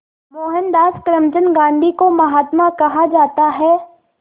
मोहनदास करमचंद गांधी को महात्मा कहा जाता है